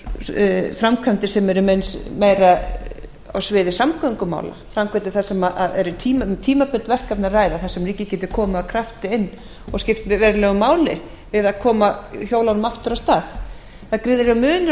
um framkvæmdir sem eru meira á sviði samgöngumála framkvæmdir þar sem er um tímabundið verkefni að ræða þar sem ríkið geti komið af krafti inn og skiptir verulegu máli við að koma hjólunum aftur af stað það er gríðarlegur munur á